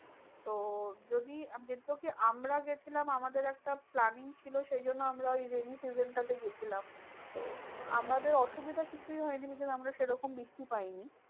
তো যদি আমরা গেছিলাম আমাদের একটা planning ছিল সেইজন্য আমরা ওই rainy season টা তে গেছিলাম। তো আমাদের অসুবিধে কিছুই হয়নি because আমরা সেরকম বৃষ্টি পাইনি।